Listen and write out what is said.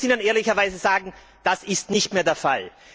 Und man muss ihnen ehrlicherweise sagen Das ist nicht mehr der Fall.